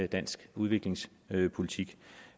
dansk udviklingspolitik